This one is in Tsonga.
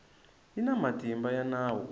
yi na matimba ya nawu